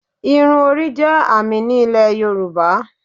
Irun orí jẹ́ àmì ní Ilẹ̀ Yorùbá